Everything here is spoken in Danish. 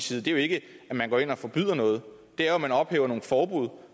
side er jo ikke at man går ind og forbyder noget det er at man ophæver nogle forbud